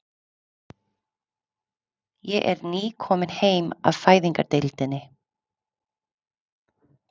Ég er nýkomin heim af Fæðingardeildinni.